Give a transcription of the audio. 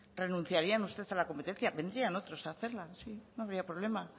renunciaría usted a la competencia vendrían otros a hacerla sí no habría problema